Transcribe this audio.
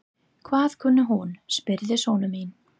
Hvað kunni hún? spurði sonur minn.